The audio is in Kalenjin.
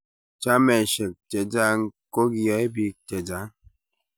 chameshek chechang kogiyae biik chechang